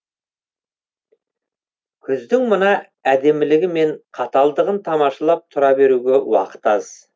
күздің мына әдемілігі мен қаталдығын тамашалап тұра беруге уақыт аз